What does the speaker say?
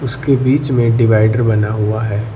उसके बीच में डिवाइडर बना हुआ है।